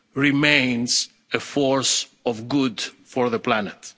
Union remains a force for good for the